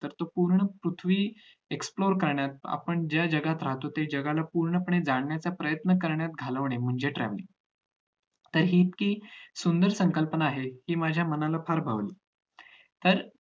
तर त पूर्ण पृथ्वी explore करण्यात आपण ज्या जगात राहतो ते जगाला पूर्णपणे जाणण्याचा प्रयत्न करण्यात घालवणे म्हणजे travelling जरी हि सुंदर शी कल्पना आहे कि माझ्या मनासारखं व्हावं तर